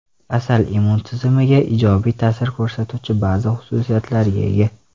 Asal immun tizimiga ijobiy ta’sir ko‘rsatuvchi ba’zi xususiyatlarga ega.